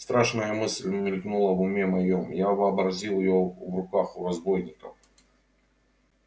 страшная мысль мелькнула в уме моём я вообразил её в руках у разбойников